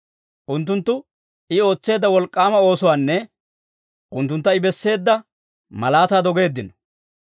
Unttunttu I ootseedda wolk'k'aama oosuwaanne unttuntta I besseedda malaataa dogeeddino.